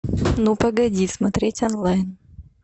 ну погоди смотреть онлайн